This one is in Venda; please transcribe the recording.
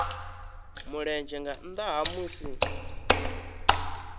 mulenzhe nga nnda ha musi